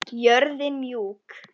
Jörðin mjúk.